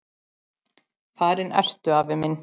Farinn ertu, afi minn.